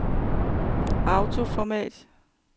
autoformat